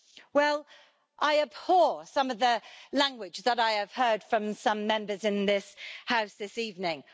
Well, I abhor some of the language that I have heard from some Members in this House this evening.